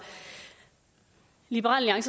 liberal